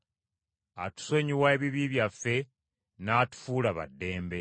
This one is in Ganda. atusonyiwa ebibi byaffe, n’atufuula ba ddembe.